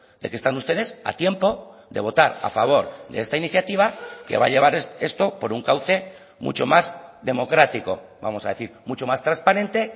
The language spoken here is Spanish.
de que están ustedes a tiempo de votar a favor de esta iniciativa que va a llevar esto por un cauce mucho más democrático vamos a decir mucho más transparente